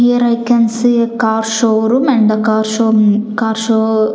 Here I can see a car showroom and the car show car --